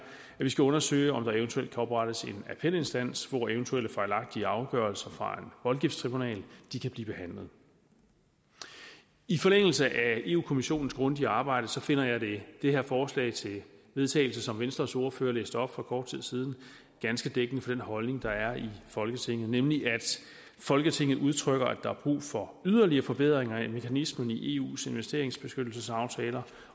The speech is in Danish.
vi skal undersøge om der eventuelt kan oprettes en appelinstans hvor eventuelt fejlagtige afgørelser fra voldgiftstribunal kan blive behandlet i forlængelse af europa kommissionens grundige arbejde finder jeg det her forslag til vedtagelse som venstres ordfører læste op for kort tid siden ganske dækkende for den holdning der er i folketinget nemlig at folketinget udtrykker at der er brug for yderligere forbedringer i mekanismen i eus investeringsbeskyttelsesaftaler